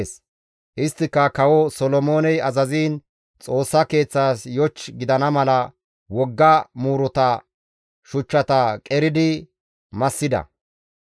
Isttika Kawo Solomooney azaziin Xoossa Keeththaas yoch gidana mala wogga muuruta shuchchata qeridi massida.